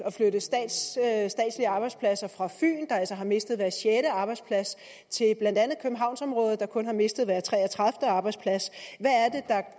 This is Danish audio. at arbejdspladser fra fyn der altså har mistet hver sjette arbejdsplads til blandt andet københavnsområdet der kun har mistet hver tre og tredive arbejdsplads